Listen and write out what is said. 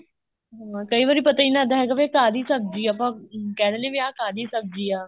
ਹਮ ਕਈ ਵਾਰੀ ਪਤਾ ਹੀ ਨੀ ਲੱਗਦਾ ਹੈਗਾ ਵੀ ਕਾਦੀ ਸਬਜ਼ੀ ਆ ਆਪਾ ਏ ਕਹਿ ਦਿੰਨੇ ਆ ਕਾਹਦੀ ਸਬਜ਼ੀ ਆ